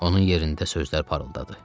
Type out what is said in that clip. Onun yerində sözlər parıldadı.